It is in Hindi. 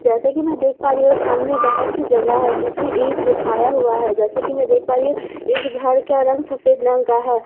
जैसे कि मैं देख पा रही हूं सामने बहुत सी जगह है जिसमें ईट बिछाया हुआ है जैसे कि मैं देख पा रही हूं इस घर का रंग सफेद रंग है और उस--